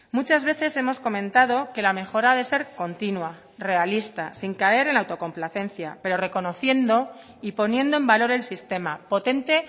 muchas veces hemos comentado que la mejora ha de ser continua realista sin caer en la autocomplacencia pero reconociendo y poniendo en valor el sistema potente